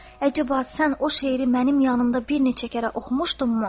Əcəba, sən o şeiri mənim yanımda bir neçə kərə oxumuşdunmu?